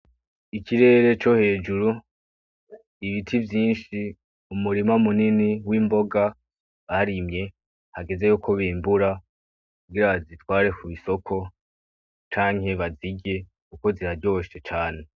Ikirere co hejuru, ibiti vyinshi mu murima w'imboga barimye hageze yuko bimbura kugira bazitware kw'isoko canke bazirye kuko ziraryoshe cane.